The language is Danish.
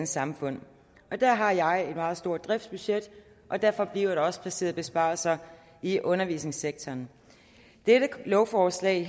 samfund der har jeg et meget stort driftsbudget og derfor bliver der også placeret besparelser i undervisningssektoren dette lovforslag